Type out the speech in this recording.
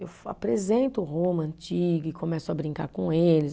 Eu fa, apresento Roma antiga e começo a brincar com eles.